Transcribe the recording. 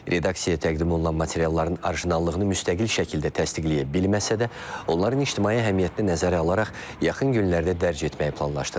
Redaksiya təqdim olunan materialların orijinallığını müstəqil şəkildə təsdiqləyə bilməsə də, onların ictimai əhəmiyyətini nəzərə alaraq yaxın günlərdə dərc etməyi planlaşdırır.